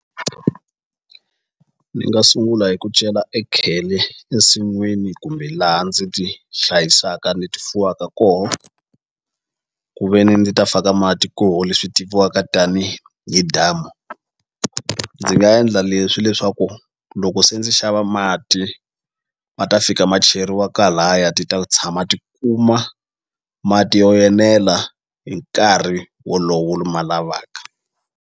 Ni nga sungula hi ku cela ekhele ensin'wini kumbe laha ndzi ti hlayisaka ni ti fuwaka koho ku ve ni ndzi ta faka mati koho leswi tiviwaka tanihi damu ndzi nga endla leswi leswaku loko se ndzi xava mati ma ta fika ma cheriwa ti ta tshama ti kuma mati yo enela hi nkarhi wolowo ni ma lavaka.